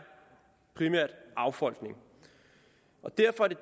affolkning og derfor er det